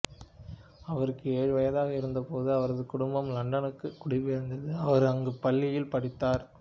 அவருக்கு ஏழு வயதாக இருந்தபோது அவரது குடும்பம் லண்டனுக்கு குடிபெயர்ந்தது அவர் அங்கு பள்ளியில் படித்தார்